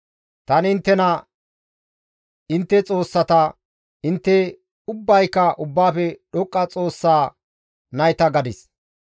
«Tani inttena, ‹Intte xoossata; intte ubbayka Ubbaafe Dhoqqa Xoossa nayta› gadis.